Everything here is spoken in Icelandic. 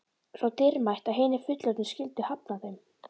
Svo dýrmætt að hinir fullorðnu skyldu hafna þeim.